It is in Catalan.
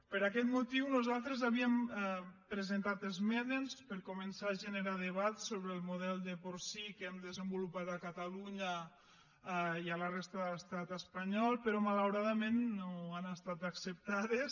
per aquest motiu nosaltres havíem presentat emenes per començar a generar debat sobre el model de porcí que hem desenvolupat a catalunya i a la resta de l’estat espanyol però malauradament no han estat acceptades